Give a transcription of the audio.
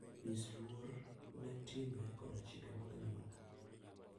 Nyis luor ne timbe koda chike mag anyuola.